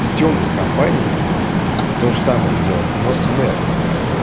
с тёмной компанией тоже самое сделать но с мэп